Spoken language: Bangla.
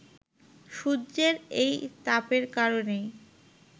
সূর্যের এই তাপের কারণেই